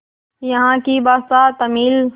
यहाँ की भाषा तमिल